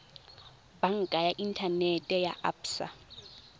banka ya inthanete ya absa